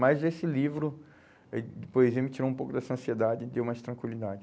Mas esse livro eh de poesia me tirou um pouco dessa ansiedade e deu mais tranquilidade.